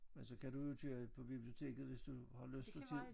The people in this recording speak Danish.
Men så kan du jo køre på biblioteket hvis du har lyst og tid